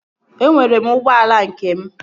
Enwere m ụgbọala nke m